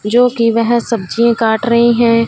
जोकि वेह सब्जियां काट रही है।